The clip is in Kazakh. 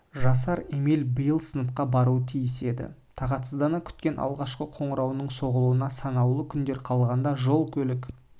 жасар эмиль биыл сыныпқа баруы тиіс еді тағатсыздана күткен алғашқы қоңырауының соғылуына санаулы күндер қалғанда жол-көлік